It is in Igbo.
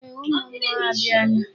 Ee, ụmụ mmụọ abịala.